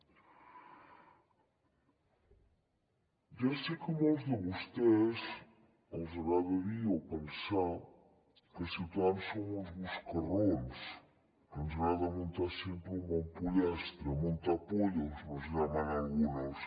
ja sé que a molts de vostès els agrada dir o pensar que ciutadans som uns busca raons que ens agrada muntar sempre un bon pollastre montapollos nos llaman algunos